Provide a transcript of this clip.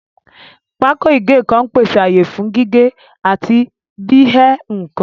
Pákó ìgé nǹkan ń pèsè ààyè fún gígé àti bí ẹ́ nǹkan